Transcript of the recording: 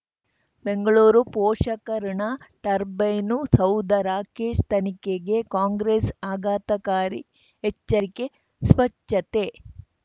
ಬೆಂಗಳೂರು ಪೋಷಕಋಣ ಟರ್ಬೈನು ಸೌಧ ರಾಕೇಶ್ ತನಿಖೆಗೆ ಕಾಂಗ್ರೆಸ್ ಆಘಾತಕಾರಿ ಎಚ್ಚರಿಕೆ ಸ್ವಚ್ಛತೆ